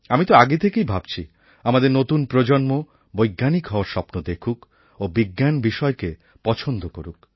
আমি তো আগে থেকেই ভাবছি আমাদের নতুন প্রজন্ম বৈজ্ঞানিক হওয়ার স্বপ্ন দেখুক ও বিজ্ঞান বিষয়কে পছন্দ করুক